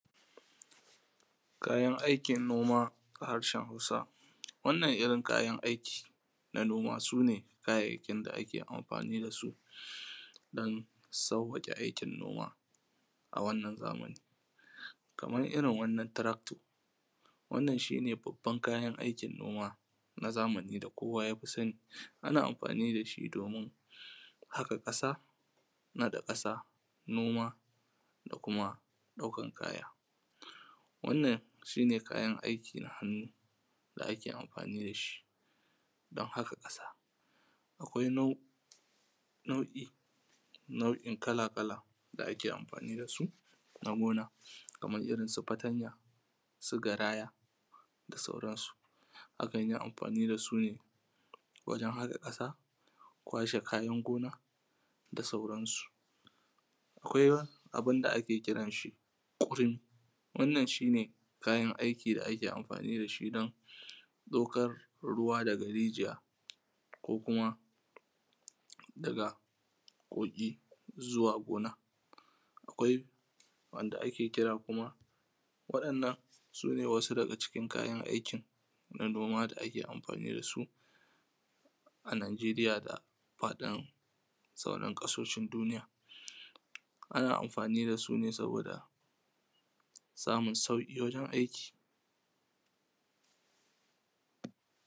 kayan aikin noma a harshen hausa wannan irrin kayan aiki na noma sune irrin kayayyakin da ake aiki dasu dan sawwake aikin noma a wannan zamani kaman irrin wannan tarakto wannan shine babban kayan aikin noma na zamani da kowa yafi sani ana amfani dashi domin haka kasa nada kasa noma da kuma daukan kaya wannan shine kayan aiki na hannu da ake amfani dashi dan haka kasa akwai nau’I nau’I kala kala da ake amfani dasu na noma kaman irrin su fatanya su garaya da sauran su akanyi amfani dasu ne gurin haka kasa kwashe kayan gona da sauran su akwai abunda da ake kiran si udin wannan shine kayan aiki da ake amfani dashi dan daukan ruwa daga rijiya ko kuma daga kogi zuwa zuwa gona akwai wanda ake kira kuma wadannan sune sune wasu daga cikin kayan aikin da ake amfani dasu a najiriya fadin sauran kasashen duniya ana amfani dasu ne saboda samun sauki gurin aiki